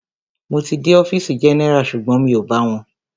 Mo ti dé ọfìsì general sugbon mi o bá wọn.